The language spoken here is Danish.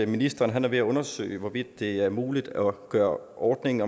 ministeren er ved at undersøge hvorvidt det er muligt at gøre ordningen